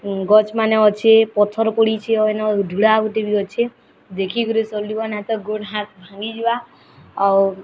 ଗଛ୍ ମାନେ ଅଛି ପଥର ପଡ଼ିଛି ଅଏନ ଧୁଡ଼ା ଗୁଟେ ବି ଅଛି ଦେଖିକରି ସଲିବା ନା ତ ଗୋଡ୍ ହାତ୍ ଭାଙ୍ଗି ଯିବା ଆଉ --